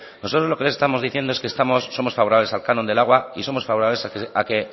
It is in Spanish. nosotros lo que les estamos diciendo es que estamos somos favorables al canon de agua y somos favorables a que